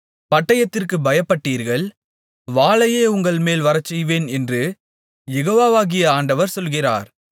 பட்டயத்திற்குப் பயப்பட்டீர்கள் வாளையே உங்கள்மேல் வரச்செய்வேன் என்று யெகோவாகிய ஆண்டவர் சொல்லுகிறார்